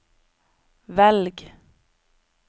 velg